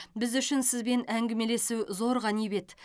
біз үшін сізбен әңгімелесу зор ғанибет